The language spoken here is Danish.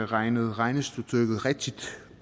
regnet regnestykket rigtigt